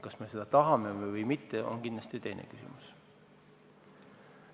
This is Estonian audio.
Kas me seda tahame või mitte, on kindlasti teine küsimus.